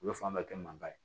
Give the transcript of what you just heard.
U bɛ fan bɛɛ kɛ mankan ye